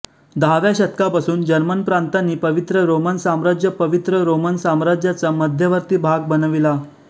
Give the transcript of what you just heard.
दहाव्या शतकापासून जर्मन प्रांतांनी पवित्र रोमन साम्राज्यपवित्र रोमन साम्राज्याचा मध्यवर्ती भाग बनविला